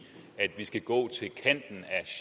at vi skal gå